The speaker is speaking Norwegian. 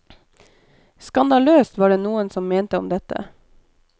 Skandaløst, var det noen som mente om dette.